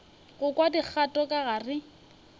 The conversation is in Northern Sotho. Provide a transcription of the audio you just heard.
go kwa dikgato ka gare